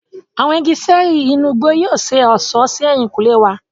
Awọn ìgi ṣẹẹri inú igbó yóò ṣe ọṣọ sí ehinkunle wà.